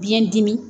Biyɛn dimi